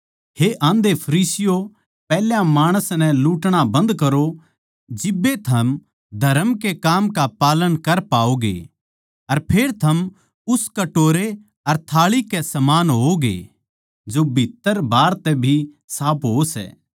हे आंधे फरीसियों पैहल्या माणस नै लूटणा बन्ध करो जिब्बे थम धरम के काम का पालन कर पाओगे अर फेर थम उस कटोरे अर थाळी के समान होवैगें जो भीत्त्तर बाहर तै भी साफ हों सै